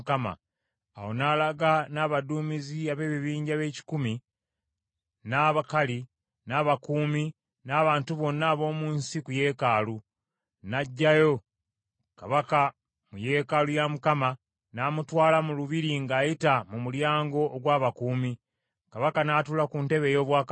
Awo n’alaga n’abaduumizi ab’ebibinja b’ekikumi, n’Abakali, n’abakuumi, n’abantu bonna ab’omu nsi ku yeekaalu, n’aggyayo kabaka mu yeekaalu ya Mukama n’amutwala mu lubiri ng’ayita mu mulyango ogw’abakuumi. Kabaka n’atuula ku ntebe ey’obwakabaka,